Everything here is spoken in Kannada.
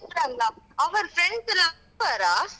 ಇದ್ರಲ್ಲಾ? ಅವರು friends ?